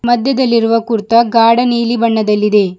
ಮಧ್ಯದಲ್ಲಿ ಇರುವ ಕುರ್ತಾ ಗಾಢ ನೀಲಿ ಬಣ್ಣದಲ್ಲಿದೆ.